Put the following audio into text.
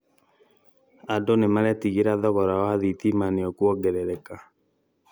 andũ nĩmaretigĩra thogora wa thitima nĩũkwongerereka